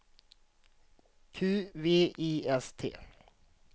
Q V I S T